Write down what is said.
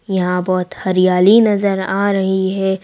यहां बहुत हरियाली नजर आ रही है।